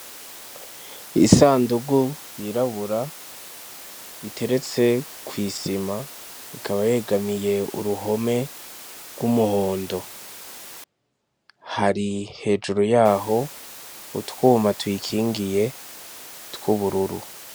Isandugu yirabura iteretse kwisima ikaba yegamiye uruhome rwumuhondo, hari hejuru yaho utwuma tuyikingiye twubururu.